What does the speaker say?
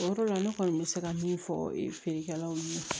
O yɔrɔ la ne kɔni bɛ se ka min fɔ feerekɛlaw ɲɛna